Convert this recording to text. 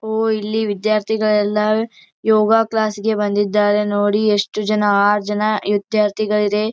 ಓ ಇಲ್ಲಿ ವಿದ್ಯಾರ್ಥಿಗಳೆಲ್ಲಾ ಯೋಗಾ ಕ್ಲಾಸ್ ಗೆ ಬಂದಿದ್ದಾರೆ ನೋಡಿ ಎಷ್ಟು ಜನ ಆರ ಜನ ವಿದ್ಯಾರ್ಥಿಗಳು ಇದೆ.